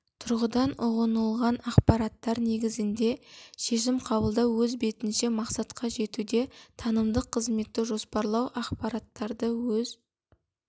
тұрғыдан ұғынылған ақпараттар негізінде шешім қабылдау өз бетінше мақсатқа жетуде танымдық қызметті жоспарлау ақпараттарды өз